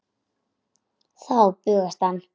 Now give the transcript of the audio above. Þá bugast hann.